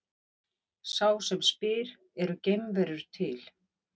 Sá sem spyr Eru geimverur til?